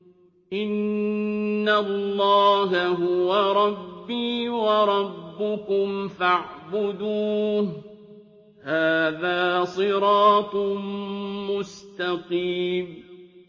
إِنَّ اللَّهَ هُوَ رَبِّي وَرَبُّكُمْ فَاعْبُدُوهُ ۚ هَٰذَا صِرَاطٌ مُّسْتَقِيمٌ